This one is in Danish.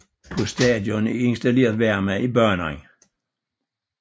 På stadion er installeret varme i banen